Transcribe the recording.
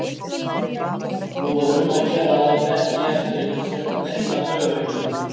Nú var um að gera að láta ekki eftir sér neina taugaveiklun.